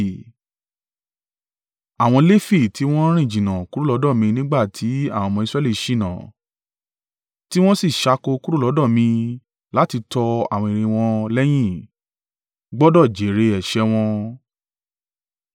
“ ‘Àwọn Lefi tí wọn rìn jìnnà kúrò lọ́dọ̀ mi nígbà tí àwọn ọmọ Israẹli ṣìnà, ti wọ́n sì ṣáko kúrò lọ́dọ̀ mi láti tọ àwọn ère wọn lẹ́yìn gbọdọ̀ jèrè ẹ̀ṣẹ̀ wọn.